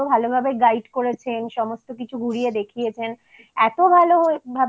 গোটা tour টাতে উনি এতো ভালো ভাবে guide করেছেন সমস্ত